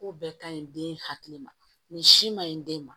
Ko bɛɛ ka ɲi den hakili ma nin si maɲi den ma